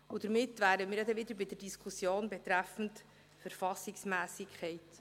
Damit wären wir ja wieder bei der Diskussion betreffend Verfassungsmässigkeit.